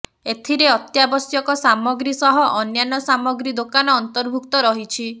ଏଥିରେ ଅତ୍ୟାବଶ୍ୟକ ସାମଗ୍ରୀ ସହ ଅନ୍ୟାନ୍ୟ ସାମଗ୍ରୀ ଦୋକାନ ଅନ୍ତର୍ଭୁକ୍ତ ରହିଛି